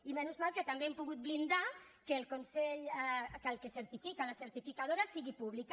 i encara sort que també hem pogut blindar que el que certifica la certi·ficadora sigui pública